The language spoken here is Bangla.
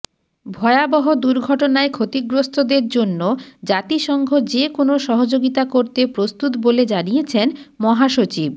ভয়াবহ দুর্ঘটনায় ক্ষতিগ্রস্তদের জন্য জাতিসংঘ যে কোনো সহযোগিতা করতে প্রস্তুত বলে জানিয়েছেন মহাসচিব